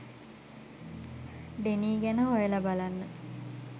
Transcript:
Denis ගැන හොයලා බලන්න